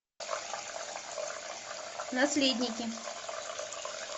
наследники